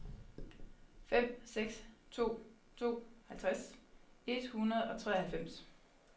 fem seks to to halvtreds et hundrede og treoghalvfems